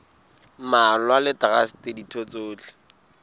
mmalwa le traste ditho tsohle